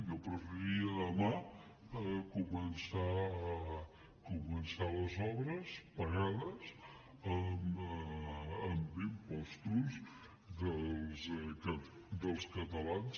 jo preferiria demà començar les obres pagades amb impostos dels catalans